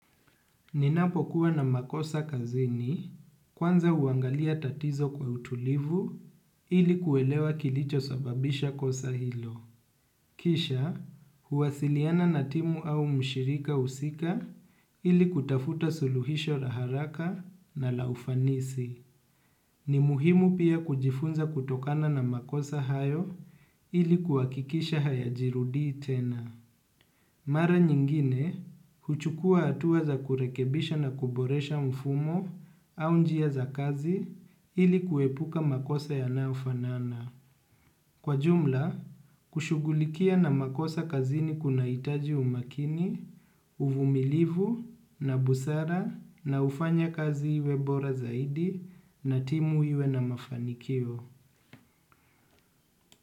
Ninapokuwa na makosa kazini kwanza huangalia tatizo kwa utulivu ili kuelewa kilicho sababisha kosa hio. Kisha, huwasiliana na timu au mshirika husika ili kutafuta suluhisho za haraka na la ufanisi. Ni muhimu pia kujifunza kutokana na makosa hayo ili kuhakikisha haya jirudi tena. Mara nyingine, huchukua hatuwa za kurekebisha na kuboresha mfumo au njia za kazi ili kuepuka makosa yanayofanana. Kwa jumla kushughulikia na makosa kazini kunahitaji umakini uvumilivu na busara na ufanye kazi iwe bora zaidi na timu iwe na mafanikio.